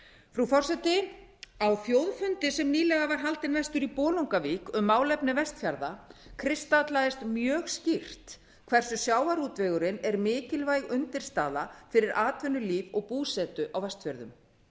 frú forseti á þjóðfundi sem nýlega var haldinn vestur í bolungarvík um málefni vestfjarða kristallaðist mjög skýrt hversu sjávarútvegurinn er mikilvæg undirstaða fyrir atvinnulíf og búsetu á vestfjörðum